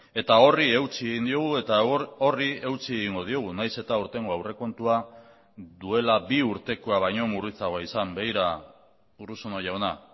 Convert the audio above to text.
eta horri eutsi egin diogu eta horri eutsi egingo diogu nahiz eta aurtengo aurrekontua duela bi urtekoa baino murritzagoa izan begira urruzuno jauna